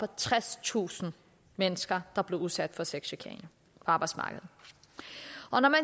tredstusind mennesker der blev udsat for sexchikane på arbejdsmarkedet og når man